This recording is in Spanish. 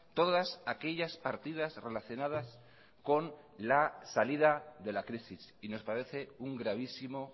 todas aquellas partidas relacionadas con la salida de la crisis y nos parece un gravísimo